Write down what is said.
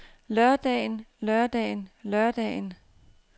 lørdagen lørdagen lørdagen